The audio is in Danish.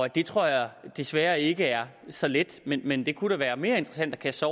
det tror jeg desværre ikke er så let men men det kunne da være mere interessant at kaste